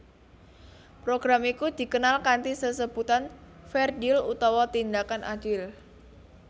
Program iku dikenal kanthi sesebutan Fair Deal utawa Tindakan Adil